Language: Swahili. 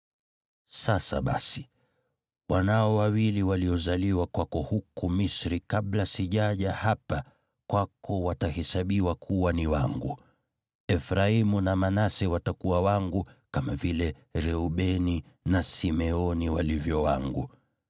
“Sasa basi, wanao wawili waliozaliwa kwako huku Misri kabla sijaja hapa kwako watahesabiwa kuwa ni wangu; Efraimu na Manase watakuwa wangu, kama vile Reubeni na Simeoni walivyo wangu.